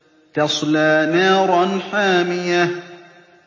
تَصْلَىٰ نَارًا حَامِيَةً